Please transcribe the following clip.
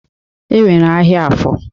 E nwere ahịa Afọ.